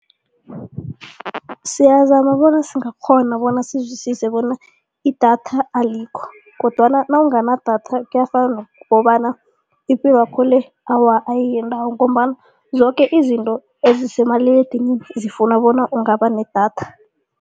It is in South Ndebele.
Siyazama bona singakghona bona sizwisise bona idatha alikho kodwana nawunganadatha kuyafana nokobana ipilwakho le awa, ayiyindawo ngombana zoke izinto ezisemaliledinini zifuna bona ungaba nedatha.